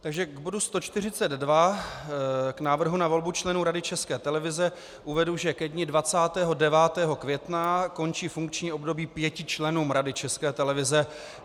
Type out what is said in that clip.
Takže k bodu 142, k návrhu na volbu členů Rady České televize, uvedu, že ke dni 29. května končí funkční období pěti členům Rady České televize.